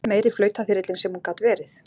Meiri flautaþyrillinn sem hún gat verið!